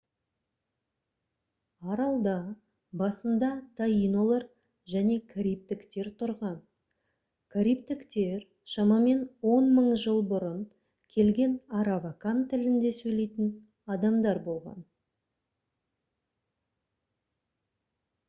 аралда басында таинолар және карибтіктер тұрған карибтіктер шамамен 10 000 жыл бұрын келген аравакан тілінде сөйлейтін адамдар болған